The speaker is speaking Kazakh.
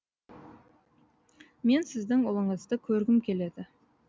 мен сіздің ұлыңызды көргім келеді